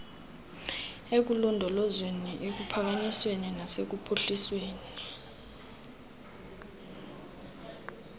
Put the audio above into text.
ekulondolozweni ekuphakanyisweni nasekuphuhlisweni